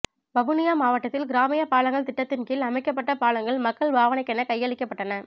வவுனியா மாவட்டத்தில் கிராமிய பாலங்கள் திட்டத்தின் கீழ் அமைக்கப்பட்ட பாலங்கள் மக்கள் பாவனைக்கென கையளிக்கப்பட்டன